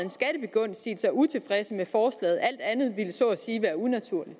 en skattebegunstigelse er utilfredse med forslaget alt andet ville så at sige være unaturligt